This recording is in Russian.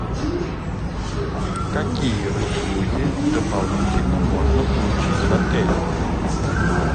какие услуги дополнительно можно получить в отеле